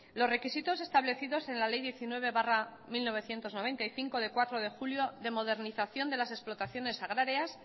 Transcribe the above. los requisitos establecidos en la ley diecinueve barra mil novecientos noventa y cinco del cuatro de julio de modernización de las explotaciones agrarias